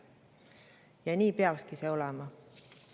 Ja nii peakski see olema.